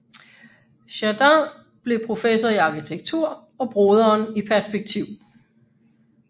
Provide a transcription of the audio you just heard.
Jardin blev professor i arkitektur og broderen i perspektiv